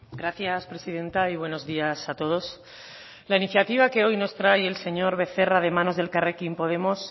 gracias presidenta y buenos días a todos la iniciativa que hoy nos trae el señor becerra de manos de elkarrekin podemos